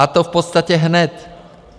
A to v podstatě hned.